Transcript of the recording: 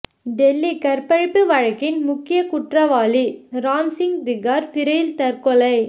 டெல்லி கற்பழிப்பு வழக்கின் முக்கிய குற்றவாளி ராம் சிங் திகார் சிறையில் தற்கொலை